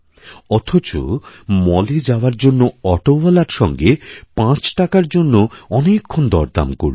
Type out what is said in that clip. অথচ মলএযাওয়ার জন্য অটোওয়ালার সঙ্গে পাঁচ টাকার জন্য অনেকক্ষণ দরদাম করল